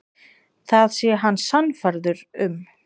Það sé hann sannfærður um.